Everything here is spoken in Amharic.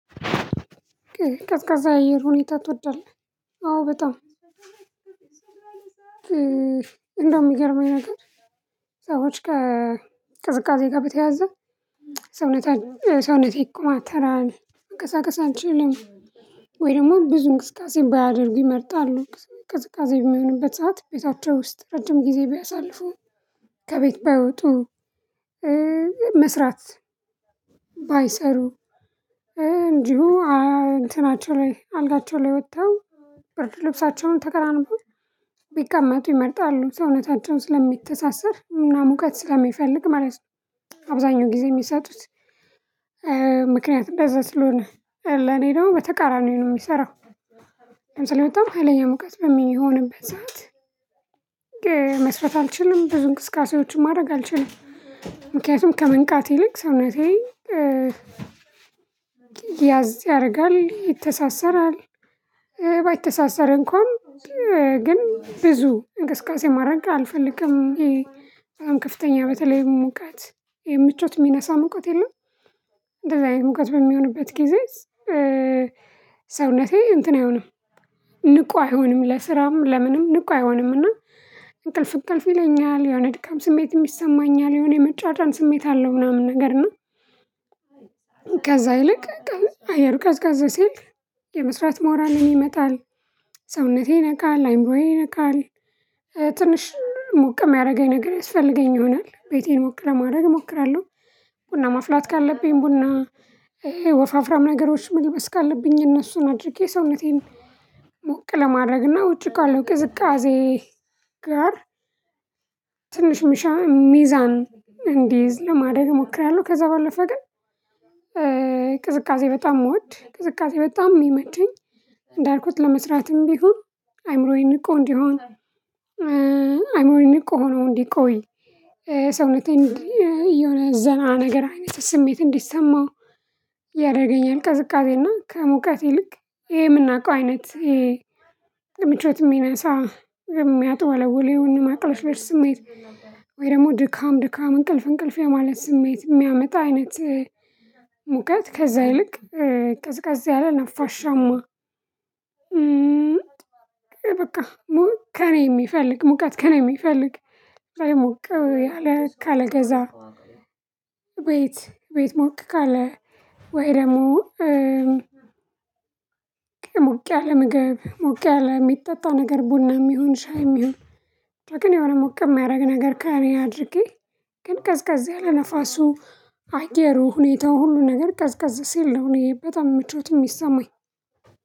ቀዝቃዛ የአየር ሁኔታ ትወዳለህ? አዎ በጣም። እንደውም የሚገርመኝ ነገር ሰዎች ከቅዝቃዜ ጋር በተያያዘ ሰውነቴ ሰውነቴ ይኮማተራል መንቀሳቀስ አልችልም። ወይ ደግሞ ብዙ እንቅስቃሴ ባያደርጉ ይመርጣሉ ቅዝቃዜ የሚሆንበት ሰዓት ቤታቸው ውስጥ ረጅም ጊዜ ቢያሳልፉ። ከቤት ባይወጡ መስራት ባይሰሩ እንዲሁ እንትናቸው ላይ አልጋቸው ላይ ወጥተው ብርድ ልብሳቸውን ተከናንበው ቢቀመጡ ይመርጣሉ ሰውነታቸው ስለሚተሳሰር እና ሙቀት ስለሚፈልግ ማለት ነው። አብዛኛው ጊዜ የሚሰጡት ምክንያቱም እንደዛ ስለሆነ ለእኔ ደግሞ በተቃራኒው ነው የሚሰራው። ለምሳሌ በጣም ሀይለኛ ሙቀት በሚሆንበት ሰዓት። መስራት አልችልም ብዙ እንቅስቃሴዎችን ማድረግ አልችልም። ምክንያቱም ከመንቃት ይልቅ ሰውነቴ ያዝ ያደርጋል ይተሳሰራል። ባይተሳሰር እንኳን ግን ብዙ እንቅስቃሴ ማድረግ አልፈልግም። ይሄ ከፍተኛ በተለይ ሙቀት የምቾት የሚነሳ ሙቀት የለም። እንደዚህ አይነት ሙቀት በሚሆንበት ጊዜ ሰውነቴ እንትን አይሆንም። ንቁ አይሆንም ለስራም ለምንም ንቁ አይሆንምና። እንቅልፍ እንቅልፍ ይለኛል የሆነ ድካም ስሜትም ይሰማኛል የሆነ የመጫጫን ስሜት አለው ምናምን ነገር እና። ከዛ ይልቅ አየሩ ቀዝቀዝ ሲል የመስራት ሞራሌም ይመጣል ሰውነቴ ይነቃል አይምሮዬ ይነቃል። ትንሽ ሞቅ የሚያደርገኝ ነገር ያስፈልገኝ ይሆናል ቤቴን ሞቅ ለማድረግ እሞክራለሁ። ቡና ማፍላት ካለብኝ ቡና ወፉፍራም ነገሮች መልበስ ካለብኝ እነሱን አድርጌ ሰውነቴን ሞቅ ለማድረግና ውጪ ካለው ቅዝቃዜ ጋር ትንሽ ምሻ ሚዛን እንዲይዝ ለማድረግ እሞክራለሁ። ከዛ ባለፈ ግን። ቅዝቃዜ በጣም ምወድ ቅዝቃዜ በጣም የሚመቸኝ። እንዳልኩት ለመስራትም ቢሆን አይምሮዬ ንቁ እንዲሆን አይምሮዬ ንቁ ሆኖ እንዲቆይ ሰውነቴን እንዲ እየሆነ ዘና ነገር አይነት ስሜት እንዲሰማው። ያደርገኛል ቅዝቃዜና ከሙቀቴ ይልክ ይሄ የምናውቀው አይነት ይሄ ምቾት የሚነሳ የሚያጠወለውል የማቅለሽለሽ ስሜት። ወይ ደግሞ ድካም ድካም እንቅልፍ እንቅልፍ የማለት ስሜት የሚያመጣ አይነት ሙቀት ከዛ ይልቅ ቀዝቃዛ ያለ ነፋሻማ። በቃ ከእኔ የሚፈልግ ሙቀት ከእኔ የሚፈልግ አይሞቅም አለ ካለ ገዛ። ቤት ቤት ሞቅ ካለ ወይ ደግሞ ሞቅ ያለ ምግብ ሞቅ ያለ የሚጠጣ ነገር ቡናም ይሁን ሻይም ይሁን። ግን የሆነ ሞቅ የሚያደርግ ነገር ከእኔ አድርጌ ግን ቀዝቃዛ ያለ ነፋሱ አየሩ ሁኔታው ሁሉ ነገር ቀዝቀዝ ሲል ነው እኔ በጣም ምቾት የሚሰማኝ።